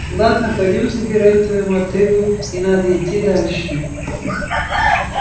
ладно пойдём забирать твою мотыгу и надо идти дальше